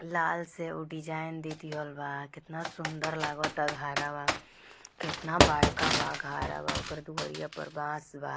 लाल से उ डिज़ाइन देदी हल बाकितना सुन्दर लगता| घरवा कितना बड़का बा घरवा ओकर दुअरी पे बास बा ।